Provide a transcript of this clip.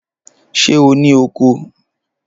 Ṣé o ní oko?